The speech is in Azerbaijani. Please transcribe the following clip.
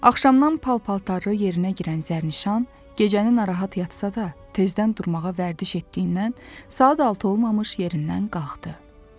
Axşamdan pal-paltarı yerinə girən Zərnişan gecə narahat yatsa da, tezdən durmağa vərdiş etdiyindən saat altı olmamış yerindən qalxdı.